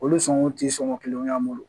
Olu sɔnko tɛ sɔngɔ kelen y'an bolo